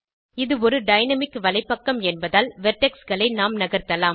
இது ஒரு டைனாமிக் வலைப்பக்கம் என்பதால் வெர்டெக்ஸ் களை நாம் நகர்த்தலாம்